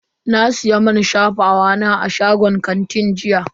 Na siya man shafawa na a shagon kanti jiya.